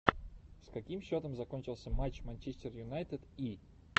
с каким счетом закончился матч манчестер юнайтед и